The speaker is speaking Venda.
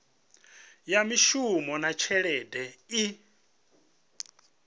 ya mishumo na tshelede i